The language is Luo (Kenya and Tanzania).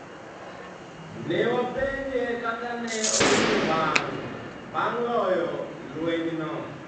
Ne wapenje kaka ne owinjo bang ' loyo lwenyno.